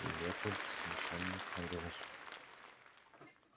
лепольд смущённо проговорил